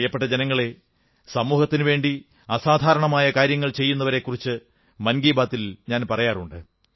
പ്രിയപ്പെട്ട ജനങ്ങളേ സമൂഹത്തിനുവേണ്ടി അസാധാരണമായ കാര്യങ്ങൾ ചെയ്യുന്നവരെക്കുറിച്ച് മൻ കീ ബാത്തിൽ പറയാറുണ്ട്